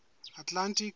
atlantic